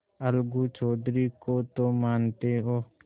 अलगू चौधरी को तो मानते हो